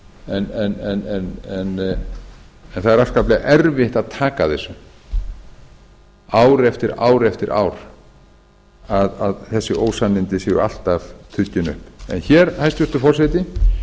en það er afskaplega erfitt að taka þessu ár eftir ár eftir ár að þessi ósannindi séu alltaf tuggin upp hér hæstvirtur forseti